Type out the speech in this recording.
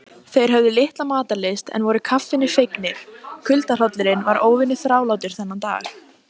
Hann var góðlegur á svipinn.